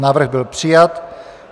Návrh byl přijat.